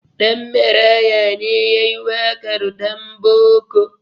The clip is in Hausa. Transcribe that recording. Ɗanmaraya ne ya yi waƙar "Ɗanboko".